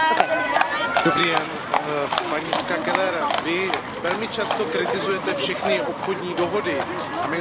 Paní Kellerová, Vy velmi často kritizujete všechny obchodní dohody a my jsme si na Vaši rétoriku zvykli.